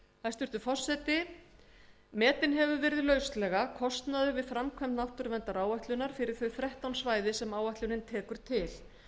hæstvirtur forseti metinn hefur verið lauslega kostnaður við framkvæmd náttúruverndaráætlunar fyrir þau þrettán svæði sem áætlunin tekur til